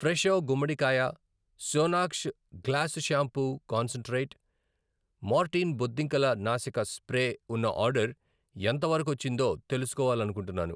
Fresho గుమ్మడికాయ, సోనాక్ష్ glass shampoo concentrate, Mortein బొద్దింకల నాశక స్ప్రే ఉన్న ఆర్డర్ ఎంతవరకొచ్చిందో తెలుసుకోవాలనుకుంటున్నాను.